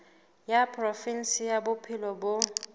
wa provinse ya bophelo bo